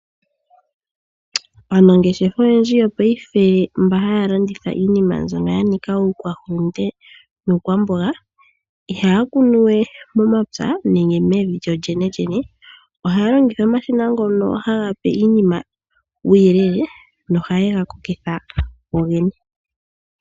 Aanangeshefa oyendji mbono haya landitha iinima oyindji mbyoka yanika iihulunde niikwamboga ihaya kunuwe mevi nenge momapya. Ohayalongitha omashina ngono haga pe iinima uuyelele nohaga kokitha gogene.